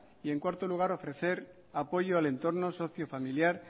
y en cuarto lugar ofrecer apoyo al entorno socio familiar